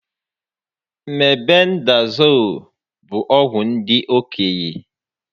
Mebendazool bụ ọgwụ ndị okenye